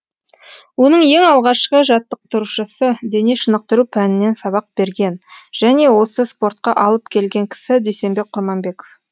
оның ең алғашқы жаттықтырушысы дене шынықтыру пәнінен сабақ берген және осы спортқа алып келген кісі дүйсенбек құрманбеков